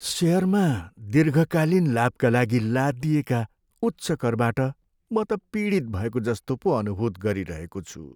सेयरमा दीर्घकालीन लाभका लागि लादिएका उच्च करबाट म त पीडित भएको जस्तो पो अनुभूत गरिरहेको छु।